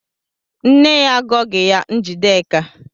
Nne ya agọghị ya Njideka.